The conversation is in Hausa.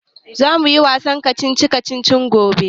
Za mu yi wasan kacici kacici gobe